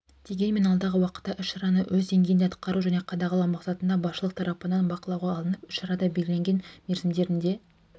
дегенменен алдағы уақытта іс-шараны өз деңгейінде атқару және қадағалау мақсатында басшылық тарапынан бақылауға алынып іс-шарада белгіленген мерзімдерінде